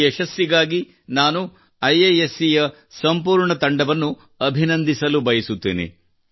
ಈ ಯಶಸ್ಸಿಗಾಗಿ ನಾನು ಐಐಎಸ್ಸಿ ನ ಸಂಪೂರ್ಣ ತಂಡವನ್ನು ಅಭಿನಂದಿಸಲು ಬಯಸುತ್ತೇನೆ